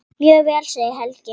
Mjög vel segir Helgi.